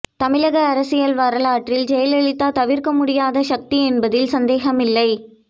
தமிழக அரசியல் வரலாற்றில் ஜெயலலிதா தவிர்க்க முடியாத சக்தி என்பதில் சந்தேகமில்லை